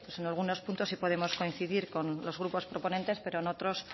pues en algunos puntos sí podemos coincidir con los grupos proponentes pero en otros